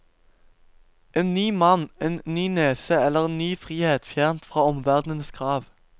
En ny mann, en ny nese eller en ny frihet fjernt fra omverdenens krav.